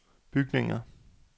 bygninger